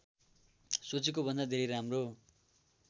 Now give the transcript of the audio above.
सोचेको भन्दा धेरै राम्रो